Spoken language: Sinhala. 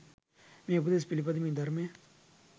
මේ උපදෙස් පිළිපදිමින් ධර්මය